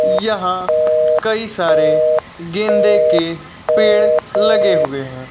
यहां कई सारे गेंदे के पेड़ लगे हुए हैं।